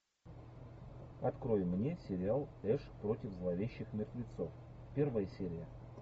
открой мне сериал эш против зловещих мертвецов первая серия